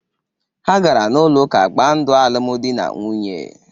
Ha gara n'ụlọ ụka gbaa ndụ alụmdi na nwunye ha.